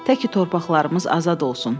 Təki torpaqlarımız azad olsun.